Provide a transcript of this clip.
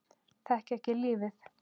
Þekkja ekki lífið.